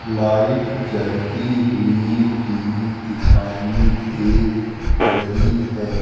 Light जलती हुई भी दिखाई दे रही है।